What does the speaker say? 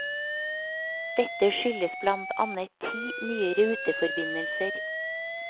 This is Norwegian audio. Dette skyldes blant annet ti nye ruteforbindelser.